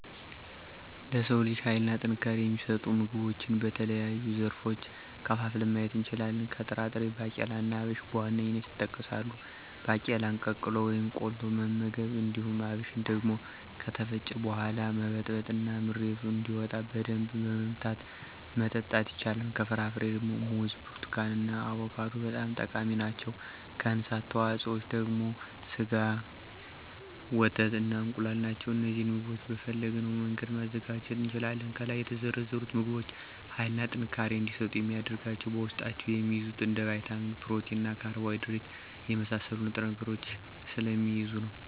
ለሰው ልጅ ሀይልና ጥንካሬን የሚሰጡ ምግቦችን በተለያዩ ዘርፎች ከፋፍለን ማየት እንችላለን። ከጥራጥሬ ባቄላና አብሽ በዋነኛነት ይጠቀሳሉ። ባቄላን ቀቅሎ ወይም ቆልቶ መመገብ። እንዲሁም አብሽን ደግሞ ከተፈጨ በሗላ መበጥበጥ እና ምሬቱ እንደወጣ በደንብ በመምታት መጠጣት ይቻላል። ከፍራፍሬ ደግሞ ሙዝ፣ ብርቱካን እና አቮካዶ በጣም ጠቃሚ ናቸው። ከእንስሳት ተዋጽኦ ደግሞ ስጋ፣ ወተት እና እንቁላል ናቸው። እነዚህን ምግቦች በፈለግነው መንገድ ማዘጋጀት እንችላለን። ከላይ የተዘረዘሩት ምግቦች ሀይልና ጥንካሬን እንዲሰጡ የሚያደርጋቸው በውስጣቸው የሚይዙት እንደ ቫይታሚን፣ ፕሮቲን እና ካርቦሀይድሬትን የመሳሰሉ ንጥረ ነገሮችን ስለሚይዙ ነው።